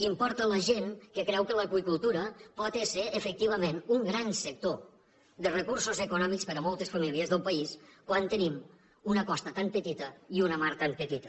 importa a la gent que creu que l’aqüicultura pot esser efectivament un gran sector de recursos econòmics per a moltes famílies del país quan tenim una costa tan petita i una mar tan petita